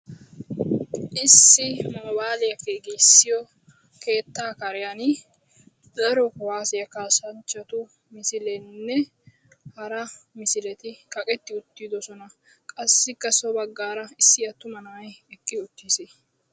Issi moobaaliya giigissiyo keettaa kariyan daro kuwasiya kaassanchchatu misileenne hara misileti kaqetti uttidosona. Qassikka so baggaara issi attuma na'ay eqqi uttiis.